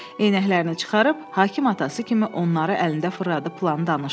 Eynəklərini çıxarıb, hakim atası kimi onları əlində fırladıb planı danışdı.